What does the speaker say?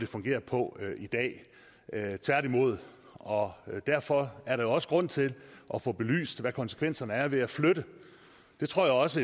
fungerer på i dag tværtimod og derfor er der også grund til at få belyst hvad konsekvenserne er ved at flytte det tror jeg også